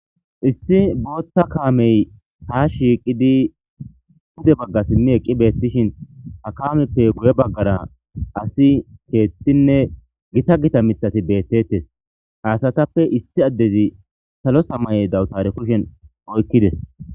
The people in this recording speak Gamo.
Issi bota kame ha shiqidi pude baga simi eqishin ha kamepe guye bagara asi kethine gita gita mitati betetes ha asatape issi adezi salo samaye dawutara kushen oykides.